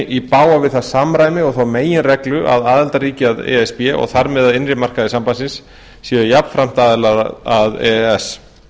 í bága við það samræmi og þá meginreglu að aðildarríki að e s b og þar með að innri markaði sambandsins séu jafnframt aðilar að e e s